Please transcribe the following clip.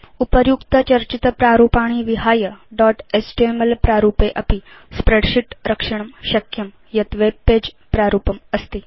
उपर्युक्तचर्चितप्रारूपाणि विहाय dot HTML प्रारूपे अपि स्प्रेडशीट् रक्षणं शक्यं यत् वेब पगे प्रारूपम् अस्ति